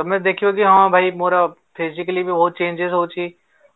ତମେ ଦେଖିବା ଯଦି ହଁ ଭାଇ ମୋର physically ବି ବହୁତ changes ହଉଚି